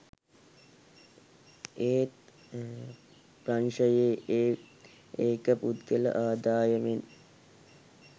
ඒත් ප්‍රංශෙ ඒක පුද්ගල ආදායමෙන්